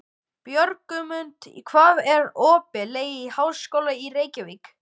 Björgmundur, hvað er opið lengi í Háskólanum í Reykjavík?